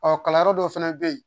Ɔ kalanyɔrɔ dɔ fana bɛ yen